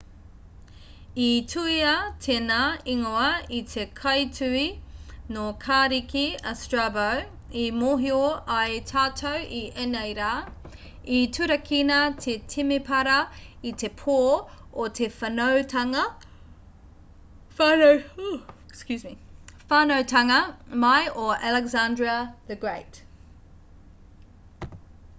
i tuhia tēnā ingoa e te kaituhi nō kariki a strabo i mōhio ai tātou i ēnei rā i turakina te temepara i te pō o te whānautanga mai o alexandra the great